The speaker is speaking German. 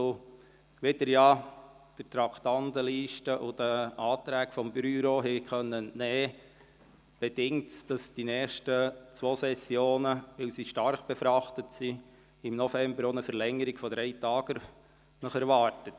Wie Sie der Traktandenliste und den Anträgen des Büros entnehmen konnten, bedingt dies, dass Sie für die nächsten zwei Sessionen inklusive der Novembersession eine Verlängerung um drei Tage erwarten.